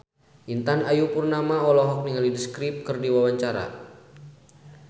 Intan Ayu Purnama olohok ningali The Script keur diwawancara